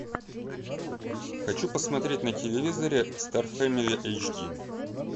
хочу посмотреть на телевизоре стар фэмили эйч ди